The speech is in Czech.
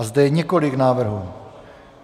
A zde je několik návrhů.